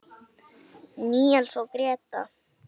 Níels og Gréta.